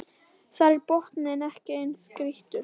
Þar er botninn ekki eins grýttur